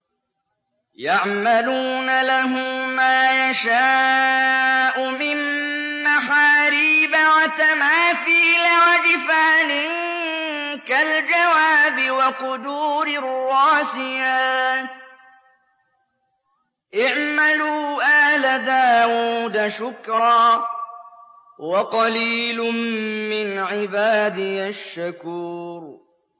يَعْمَلُونَ لَهُ مَا يَشَاءُ مِن مَّحَارِيبَ وَتَمَاثِيلَ وَجِفَانٍ كَالْجَوَابِ وَقُدُورٍ رَّاسِيَاتٍ ۚ اعْمَلُوا آلَ دَاوُودَ شُكْرًا ۚ وَقَلِيلٌ مِّنْ عِبَادِيَ الشَّكُورُ